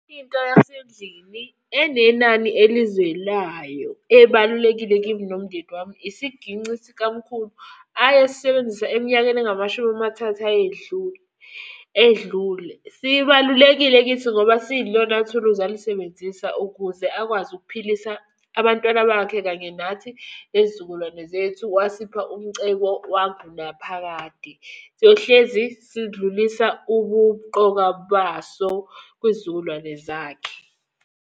Into yasendlini enenani elizwelayo ebalulekile kimi nomndeni wami, isiginci sikamkhulu ayesisebenzisa eminyakeni engamashumi amathathu ayedlule, edlule. Sibalulekile kithi ngoba siyilona thuluzi alisebenzisa ukuze akwazi ukuphilisa abantwana bakhe kanye nathi nezizukulwane zethu. Wasipha umcebo wangunaphakade. Siyohlezi sidlulisa ubumnqoka baso kwiy'zukulwane zakhe.